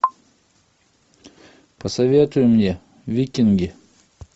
посоветуй мне викинги